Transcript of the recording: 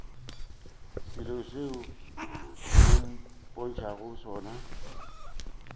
selo seo o mpotšago sona